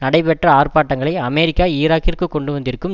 நடைபெற்ற ஆர்ப்பாட்டங்களை அமெரிக்கா ஈராக்கிற்கு கொண்டுவந்திருக்கும்